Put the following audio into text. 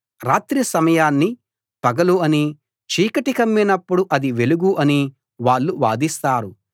రాత్రి సమయాన్ని పగలు అనీ చీకటి కమ్మినప్పుడు అది వెలుగు అనీ వాళ్ళు వాదిస్తారు